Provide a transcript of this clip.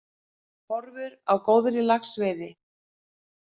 Horfur á góðri laxveiði